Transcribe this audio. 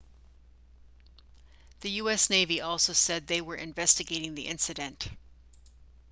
the us navy also said they were investigating the incident